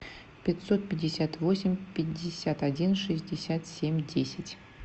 пятьсот пятьдесят восемь пятьдесят один шестьдесят семь десять